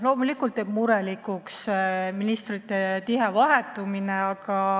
Loomulikult teeb murelikuks ministrite tihe vahetumine.